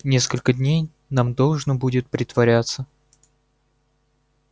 несколько дней нам должно будет притворяться